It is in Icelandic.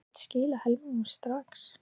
Hann gæti skilað helmingnum strax.